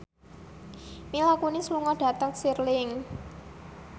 Mila Kunis lunga dhateng Stirling